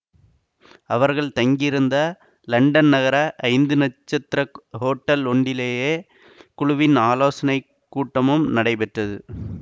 அவர்கள் தங்கியிருந்த லண்டன் நகர ஐந்து நட்சத்திர ஹோட்டல் ஒன்றிலேயே குழுவின் ஆலோசனை கூட்டமும் நடைபெற்றது